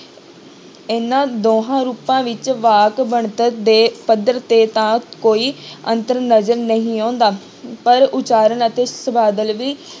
ਇਹਨਾਂ ਦੋਹਾਂ ਰੂਪਾਂ ਵਿੱਚ ਵਾਕ ਬਣਤਰ ਦੇ ਪੱਧਰ ਤੇ ਤਾਂ ਕੋਈ ਅੰਤਰ ਨਜ਼ਰ ਨਹੀਂ ਆਉਂਦਾ ਪਰ ਉਚਾਰਨ ਅਤੇ ਸ਼ਬਦਾਵਲੀ